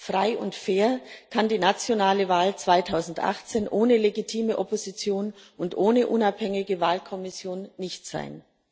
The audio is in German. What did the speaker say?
Frei und fair kann die nationale Wahl 2018 ohne legitime Opposition und ohne unabhängige Wahlkommission nicht sein.